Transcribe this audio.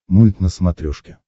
мульт на смотрешке